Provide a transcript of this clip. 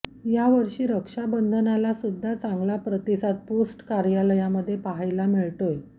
यावर्षी रक्षाबंधनाला सुद्धा चांगला प्रतिसाद पोस्ट कार्यालयामध्ये पाहायला मिळतोय